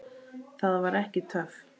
Það var ekki töff.